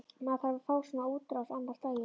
Maður þarf að fá svona útrás annað slagið.